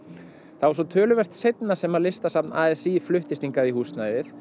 það var svo töluvert seinna sem Listasafn a s í fluttist hingað í húsnæðið